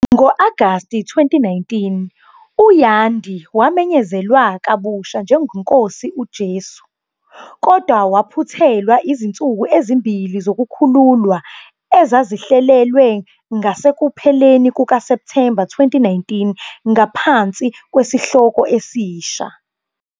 Ngo-Agasti 2019, u- "Yandhi wamenyezelwa" kabusha njengeNkosi "uJesu", kodwa waphuthelwa izinsuku ezimbili zokukhululwa ezazihlelelwe ngasekupheleni kukaSepthemba 2019 ngaphansi kwesihloko esisha.